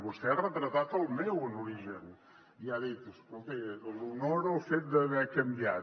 vostè ha retratat el meu en origen i ha dit escolti l’honora el fet d’haver canviat